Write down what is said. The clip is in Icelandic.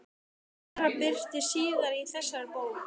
Ein þeirra birtist síðar í þessari bók.